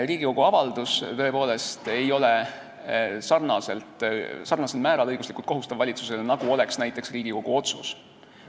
Riigikogu avaldus ei ole tõepoolest valitsusele sarnasel määral õiguslikult kohustav, nagu oleks näiteks Riigikogu otsus.